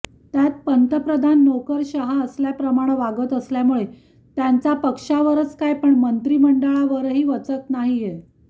त्यात पंतप्रधान नोकरशहा असल्याप्रमाणं वागत असल्यामुळे त्यांचा पक्षावरच काय पण मंत्रिमंडळावरही वचक नाहीये